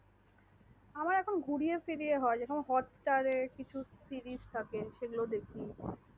আমার এখন ঘুরিয়ে ফিরিয়ে হয় যখন hotstar কিছু series থাকে সেগুলো দেখি।